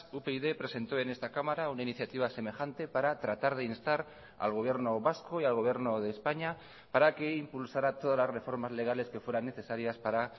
upyd presentó en esta cámara una iniciativa semejante para tratar de instar al gobierno vasco y al gobierno de españa para que impulsara todas las reformas legales que fueran necesarias para